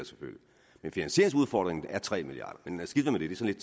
finansieringsudfordringen er tre milliard men skidt